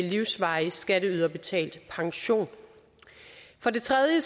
livsvarig skatteyderbetalt pension for det tredje